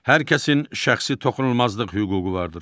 Hər kəsin şəxsi toxunulmazlıq hüququ vardır.